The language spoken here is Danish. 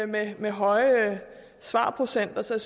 med med høje svarprocenter så